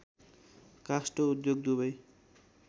काष्ट उद्योग दुवै